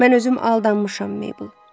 Mən özüm aldanmışam, Mabel.